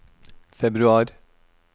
februar